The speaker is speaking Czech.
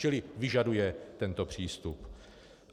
Čili vyžaduje tento přístup.